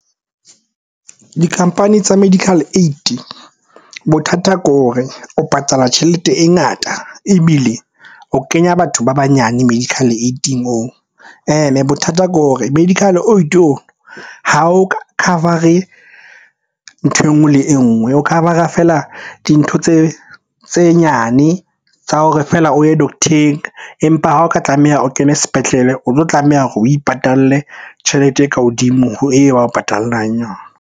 Di-company tsa medical aid, bothata ke hore o patala tjhelete e ngata ebile o kenya batho ba banyane medical aid-ing oo. Ene bothata ke hore medical aid on ha o ka cover-re nthwe enngwe le enngwe. O cover-ra feela dintho tse nyane tsa hore feela o ye doctor-eng, empa ha o ka tlameha o kene sepetlele o tlo tlameha hore o ipatalle tjhelete e ka hodimo ho eo ba o patallang yona.